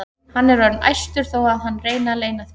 Hann er orðinn æstur þó að hann reyni að leyna því.